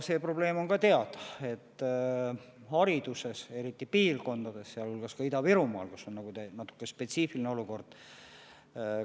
See probleem on teada, et hariduses, eriti mõnes piirkonnas, sealhulgas ka Ida-Virumaal, valitseb spetsiifiline olukord.